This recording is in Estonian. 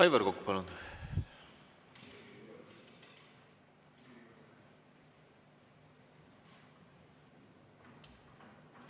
Aivar Kokk, palun!